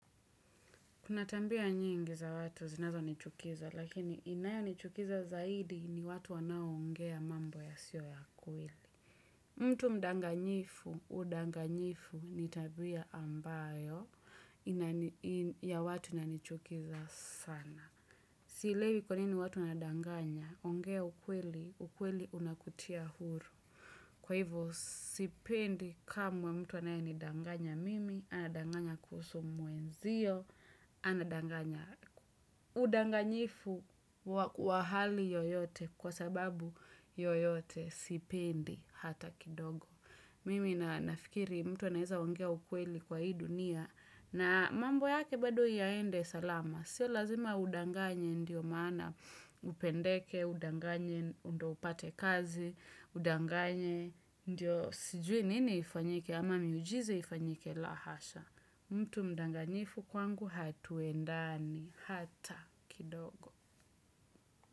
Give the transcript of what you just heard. Kuna tambia nyingi za watu zinazonichukiza, lakini inayonichukiza zaidi ni watu wanaoongea mambo yasiyo ya kweli. Mtu mdanganyifu, udanganyifu ni tabia ambayo ya watu inanichukiza sana. Sielewi kwa nini watu wanadanganya, ongea ukweli, ukweli unakutia huru. Kwa hivyo sipendi kamwe mtu anayenidanganya mimi, anadanganya kuhusu mwenzio, anadanganya udanganyifu wa hali yoyote kwa sababu yoyote sipendi hata kidogo. Mimi na nafikiri mtu anaweza ongea ukweli kwa hii dunia na mambo yake bado yaende salama. Sio lazima udanganye ndio maana upendeke, udanganye ndo upate kazi, udanganye ndio sijui nini ifanyike ama miujiza ifanyike, la hasha. Mtu mdanganyifu kwangu hatuendani hata kidogo.